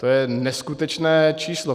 To je neskutečné číslo.